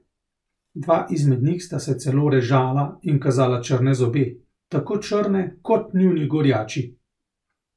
Dva izmed njih sta se celo režala in kazala črne zobe, tako črne kot njuni gorjači.